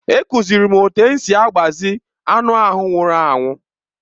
A kụziiri m otú e si agbazi anụ ahụ nwụrụ anwụ.